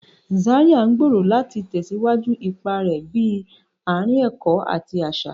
Zaria ngbero láti tẹsiwaju ipá rẹ bi aarin ẹkọ ati aṣa.